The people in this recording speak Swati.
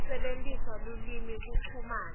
kusebentisa lulwimi kuchumana